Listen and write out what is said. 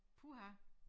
Puha